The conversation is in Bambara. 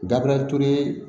Dabilali ture